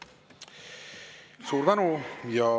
Suur tänu!